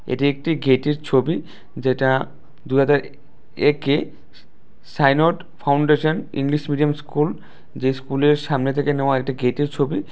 এটি একটি গেট এর ছবি যেটা দুহাজার একে signed foundation English medium school যে স্কুল এর সামনে থেকে নেওয়া একটি গেট এর ছবি।